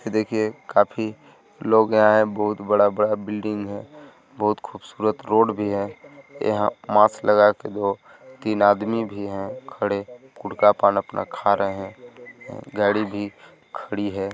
ये देखिए काफी लोग यहाँ है बहुत बडा बडा बिल्डिंग है बहुत खूबसूरत रोड भी है यहां मास्क लगाकर दो तीन आदमी भी हैं खडे पान अपना खा रहे हैं गाडी भी खडी है।